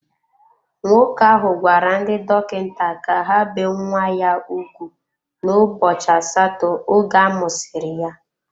Nwoke ahụ gwara ndị dọkịta ka ha bee nwa ya ugwu n'ụbọchị asatọ oge amụsiri ya.